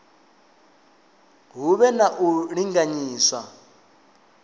hu vhe na u linganyiswa